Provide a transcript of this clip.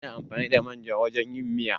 Ana amfani da manja wajan yin miya